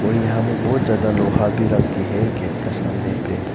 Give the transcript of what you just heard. और यहां में बहुत ज्यादा लोहा भी रख के है गेट का सामने पे।